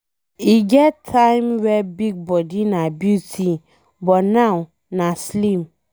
E get time wey big body na beauty but now nah slim.